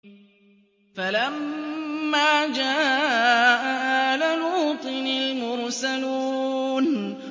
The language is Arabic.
فَلَمَّا جَاءَ آلَ لُوطٍ الْمُرْسَلُونَ